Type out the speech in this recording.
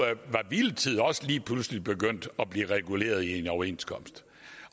hviletid også lige pludselig begyndt at blive reguleret i en overenskomst